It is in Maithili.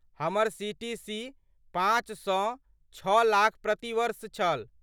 हमर सी.टी.सी. पाँच सँ छओ लाख प्रति वर्ष छल।